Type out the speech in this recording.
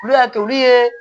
Olu y'a to olu ye